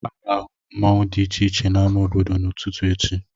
A ga-ahụ mmanwu dị iche iche n'ámá obodo n'ututu echi